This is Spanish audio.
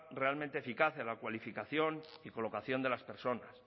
realmente eficaz en la cualificación y colocación de las personas